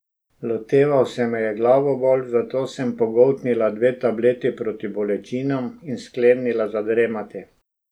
Loteval se me je glavobol, zato sem pogoltnila dve tableti proti bolečinam in sklenila zadremati.